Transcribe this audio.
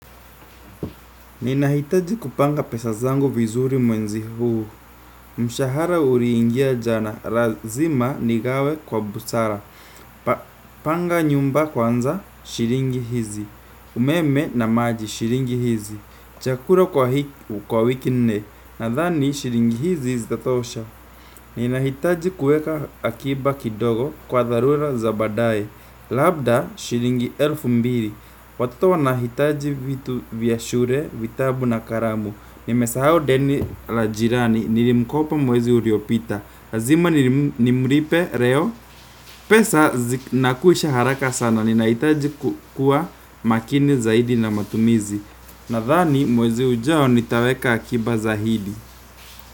Ninahitaji kupanga pesa zangu vizuri mwenzi huu, mshahara uriingia jana, razima nigawe kwa busara, panga nyumba kwanza, shiringi hizi, umeme na maji shiringi hizi, chakura kwa hiki kwa wiki nne, nadhani shiringi hizi zitatosha. Ninahitaji kueka akiba kidogo kwa dharura za baadaye. Labda shilingi elfu mbili. Watoto wanahitaji vitu vya shure, vitabu na karamu. Nimesahau deni la jirani, nirimkopa mwezi uriopita razima nimripe reo. Pesa zinakwisha haraka sana, ninahitaji kukua makini zaidi na matumizi. Nadhani mwezi ujao nitaweka akiba zaidi.